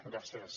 gràcies